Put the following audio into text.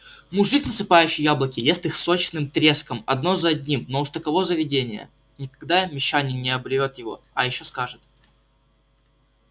мужик насыпающий яблоки ест их сочным треском одно за одним но уж таково заведение никогда мещанин не оборвёт его а ещё сажет